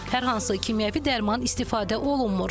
Hər hansı kimyəvi dərman istifadə olunmur.